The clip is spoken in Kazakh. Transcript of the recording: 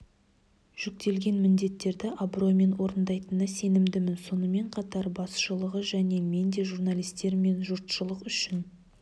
жүктелген міндеттерді абыроймен орындайтынына сенімдімін сонымен қатр басшылығы және мен де журналистер мен жұртшылық үшін